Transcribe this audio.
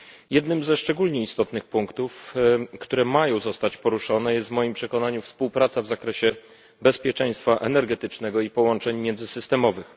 Jednym ze szczególnie istotnych punktów, które mają zostać poruszone, jest w moim przekonaniu współpraca w zakresie bezpieczeństwa energetycznego i połączeń międzysystemowych.